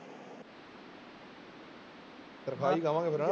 ਤਨਖਾਹ ਹੀ ਕਵਾਂਗੇ ਫਿਰ।